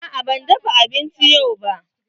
Aa ban dafa abinci yau ba.